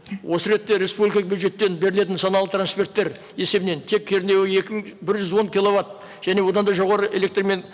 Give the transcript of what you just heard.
осы ретте республикалық бюджеттен берілетін нысаналы транферттер есебінен тек кернеуі екі мың бір жүз он киловатт және одан да жоғары электрмен